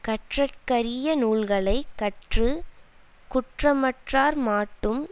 கற்றற்கரிய நூல்களை கற்று குற்றமற்றார்மாட்டும்